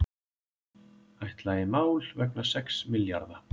Ætla í mál vegna sex milljarða